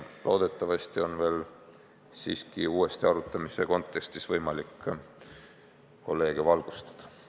Loodetavasti on selle uuesti arutamise ajal võimalik kolleege veel valgustada.